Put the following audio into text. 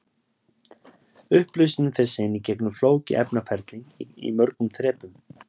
Upplausnin fer síðan í gegnum flókið efnaferli í mörgum þrepum.